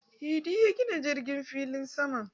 Idi ya gina filin jirgin sama